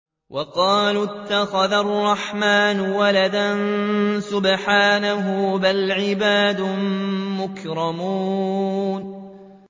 وَقَالُوا اتَّخَذَ الرَّحْمَٰنُ وَلَدًا ۗ سُبْحَانَهُ ۚ بَلْ عِبَادٌ مُّكْرَمُونَ